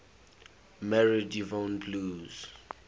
married yvonne blue